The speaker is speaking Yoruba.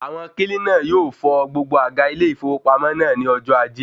Àwọn kílínà yóò fọ gbogbo àga ilé ìfowópamọ́ naa ní ọjọ́ ajé